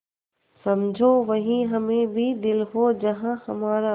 समझो वहीं हमें भी दिल हो जहाँ हमारा